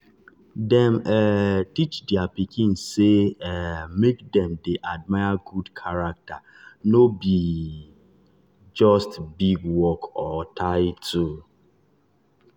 dem um teach their pikin say um make dem dey admire good character no be just big work or title.